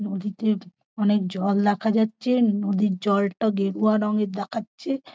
নদীতে অনেক জল দেখা যাচ্ছে নদীর জলটা গেরুয়া রঙের দেখাচ্ছে।